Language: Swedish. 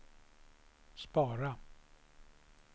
spara